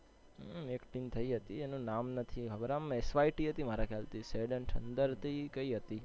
હમ એક team થયી હતી એનુ નામ નથી. SYT મારા ખ્યાલ થી sad n thunder હતી કઈ હતી.